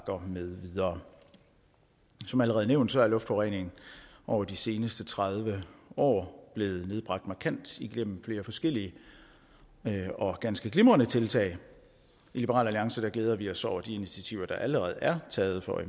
med videre som allerede nævnt er luftforureningen over de sidste tredive år nedbragt markant igennem flere forskellige og ganske glimrende tiltag i liberal alliance glæder vi os over de initiativer der allerede er taget for at